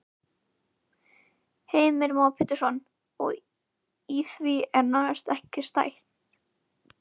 Heimir Már Pétursson: Og í því er nánast ekki stætt?